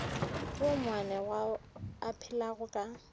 woo moanegwa a phelago ka